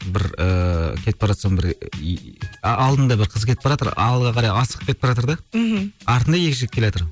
бір ыыы кетіп бара жатсам бір и алдында бір қыз кетіп баратыр алға қарай асығып кетіпбаратыр да мхм артында екі жігіт келатыр